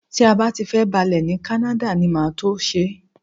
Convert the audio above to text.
Tí a bá ti fẹ́ balẹ̀ ní Canada ni màá tó ṣe é